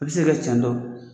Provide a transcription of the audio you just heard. I bɛ se ka tiɲɛ don